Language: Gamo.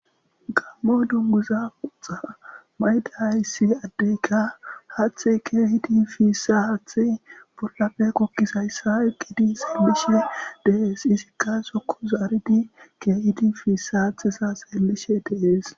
Gammo dunguza pooxa mayida issi addeyka haathe keehidi piissa haathey bollafe goggizayssa eqqidi seellishe dees. Izikka sokko zaaridi keehidi piissa haatheza seellishe dees.